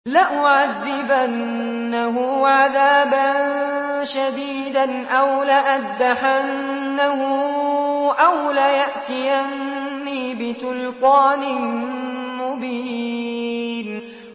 لَأُعَذِّبَنَّهُ عَذَابًا شَدِيدًا أَوْ لَأَذْبَحَنَّهُ أَوْ لَيَأْتِيَنِّي بِسُلْطَانٍ مُّبِينٍ